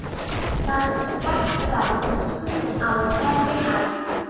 Það er gert ráð fyrir símum á hverri hæð.